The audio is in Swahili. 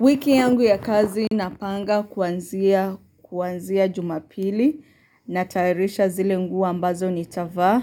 Wiki yangu ya kazi napanga kuanzia jumapili, natayarisha zile nguo ambazo nitavaa,